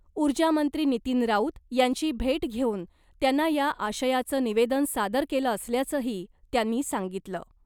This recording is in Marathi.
ऊर्जा मंत्री नितीन राऊत यांची भेट घेऊन त्यांना या आशयाचं निवेदन सादर केलं असल्याचंही , त्यांनी सांगितलं .